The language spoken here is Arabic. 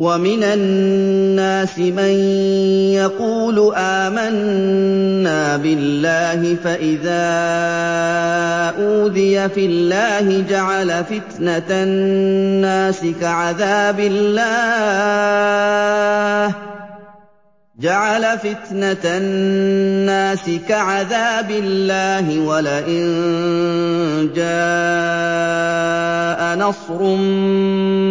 وَمِنَ النَّاسِ مَن يَقُولُ آمَنَّا بِاللَّهِ فَإِذَا أُوذِيَ فِي اللَّهِ جَعَلَ فِتْنَةَ النَّاسِ كَعَذَابِ اللَّهِ وَلَئِن جَاءَ نَصْرٌ